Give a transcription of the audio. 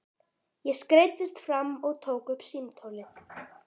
Ég skreiddist fram og tók upp símtólið.